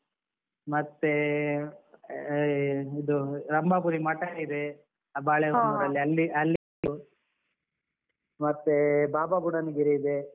ಮತ್ತೆ ಸಿರಿಮನೆ falls ಇದೆ ಅದು ನೋಡ್ಬೋದು, ಮತ್ತೆ ಇದು ರಂಭಾಪುರಿ ಮಠ ಇದೆ. ಹೊನ್ನೂರಲ್ಲಿ ಅಲ್ಲಿ ಮತ್ತೆ ಬಾಬಾ ಬುಡನ್ಗಿರಿ ಇದೆ. ಮುಳ್ಳಯ್ಯನಗಿರಿ ಇದೆ.